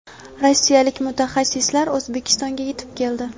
rossiyalik mutaxassislar O‘zbekistonga yetib keldi.